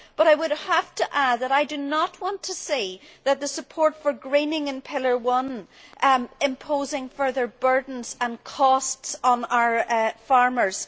However, I would have to add that I do not want to see the support for greening in Pillar One imposing further burdens and costs on our farmers.